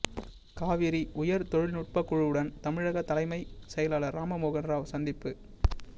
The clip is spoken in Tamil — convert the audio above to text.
காவிரி உயர்தொழில்நுட்ப குழுவுடன் தமிழக தலைமை செயலாளர் ராமமோகன் ராவ் சந்திப்பு